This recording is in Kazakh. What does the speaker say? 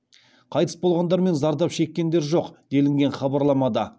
қайтыс болғандар мен зардап шеккендер жоқ делінген хабарламада